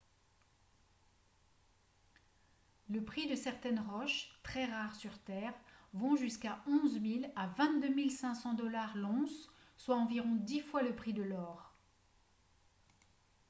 les prix de certaines roches très rares sur terre vont jusqu’à de 11 000 à 22 500 $ l’once soit environ dix fois le prix de l’or